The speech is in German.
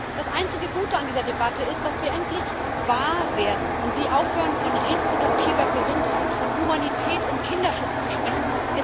Das einzige Gute an dieser Debatte ist, dass wir endlich wahr werden und Sie aufhören, von reproduktiver Gesundheit, von Humanität und Kinderschutz zu sprechen.